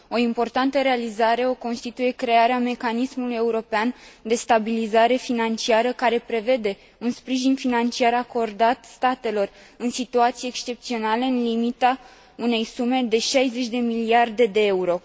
O importantă realizare o constituie crearea mecanismului european de stabilizare financiară, care prevede un sprijin financiar acordat statelor în situații excepționale, în limita unei sume de 60 de miliarde de euro.